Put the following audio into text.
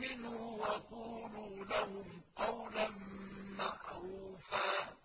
مِّنْهُ وَقُولُوا لَهُمْ قَوْلًا مَّعْرُوفًا